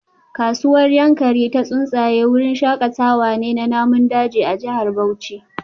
Kasuwar Yankari Ta Tsuntsaye wurin shakatawa ne na namun daji a jihar Bauchi